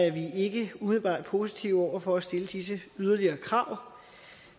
er vi ikke umiddelbart positive over for at stille disse yderligere krav